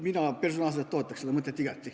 Mina personaalselt toetaks seda mõtet igati.